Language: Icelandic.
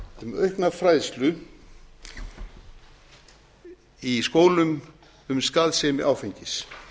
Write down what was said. um aukna fræðslu í skólum um skaðsemi áfengis